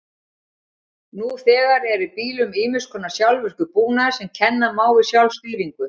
Nú þegar er í bílum ýmiss konar sjálfvirkur búnaður sem kenna má við sjálfstýringu.